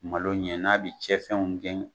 Malo ɲɛ n'a bɛ cɛn fɛnw gɛn